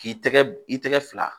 K'i tɛgɛ i tɛgɛ fila